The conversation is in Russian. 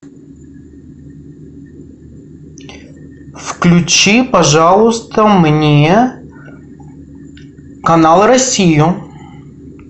включи пожалуйста мне канал россию